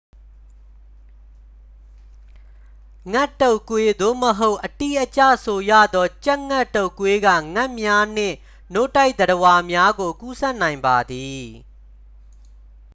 ငှက်တုပ်ကွေး သို့မဟုတ် အတိအကျဆိုရသော် ကြက်ငှက်တုပ်ကွေးက ငှက်များနှင့် နို့တိုက်သတ္တဝါများကို ကူးစက်နိုင်ပါသည်